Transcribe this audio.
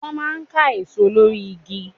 Wọ́n máa ń ká èso lórí igi.